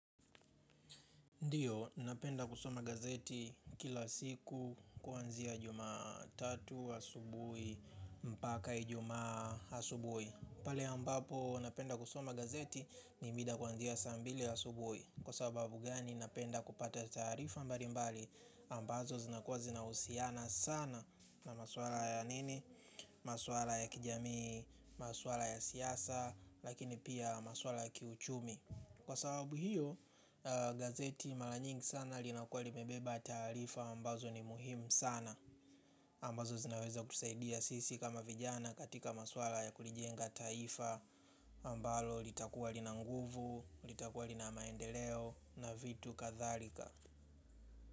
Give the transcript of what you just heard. Ndiyo, napenda kusoma gazeti kila siku kuanzia juma tatu, asubuhi, mpaka Ijumaa asubuhi. Pale ambapo napenda kusoma gazeti ni mida kuanzia saa mbili asubuhi. Kwa sababu gani napenda kupata taarifa mbali mbali ambazo zinakuwa zinahusiana sana na maswala ya nini, maswala ya kijami, maswala ya siasa, lakini pia maswala ya kiuchumi. Kwa sababu hiyo gazeti mara nyingi sana linakua limebeba taarifa ambazo ni muhimu sana ambazo zinaweza kutusaidia sisi kama vijana katika maswala ya kulijenga taifa ambalo litakua lina nguvu, litakua lina maendeleo na vitu katharika.